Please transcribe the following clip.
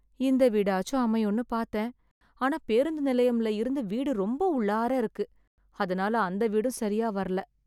இந்த வீடாச்சு அமையும்னு பாத்தேன் , ஆனா பேருந்து நிலையம்ல இருந்து வீடு ரொம்ப உள்ளாரா இருக்கு , அதுனால அந்த வீடும் சரியா வரல.